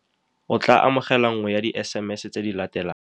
O tla amogela nngwe ya di-SMS tse di latelang.